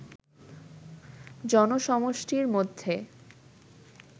জনসমষ্টির মধ্যে